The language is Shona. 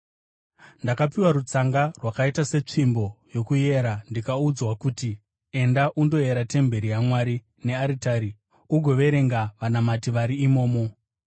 Ndakapiwa rutsanga rwakaita setsvimbo yokuyera ndikaudzwa kuti, “Enda undoyera temberi yaMwari nearitari, ugoverenga vanamati vari imomo.